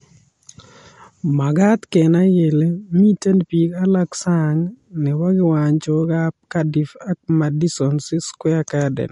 Makaat kenai kele mitei biik alake sang nebo kiwanjokab Cardiff ak Madison Square Garden.